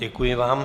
Děkuji vám.